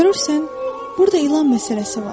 Görürsən, burada ilan məsələsi var.